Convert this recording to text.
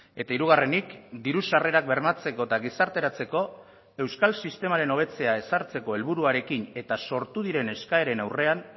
eta hirugarrenik diru sarrerak bermatzeko eta gizarteratzeko euskal sistemaren hobetzea ezartzeko helburuarekin eta sortu diren eskaeren aurrean